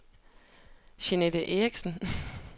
Jeanette Erichsen